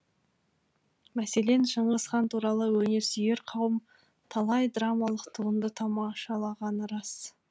мәселен шыңғыс хан туралы өнерсүйер қауым талай драмалық туынды тамашалағаны рас